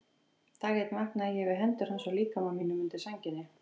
Dag einn vaknaði ég við hendur hans á líkama mínum undir sænginni.